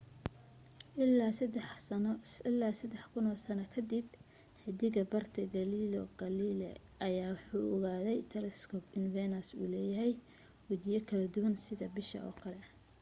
ilaa sadax kuno sano kadib 1610 xidag barte galileo galilei ayaa waxa uu ku ogaaday telescope in venus uu leeyahay wajiyo kala duwan sida bisha oo kale